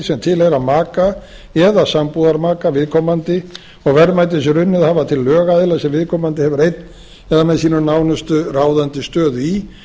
sem tilheyra maka eða sambúðarmaka viðkomandi og verðmæti sem runnið hafa til lögaðila sem viðkomandi hefur einn með sínum nánustu ráðandi stöðu í sé